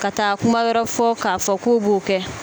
Ka taa kuma wɛrɛw fɔ k'a fɔ k'u b'o kɛ